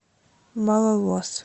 малолос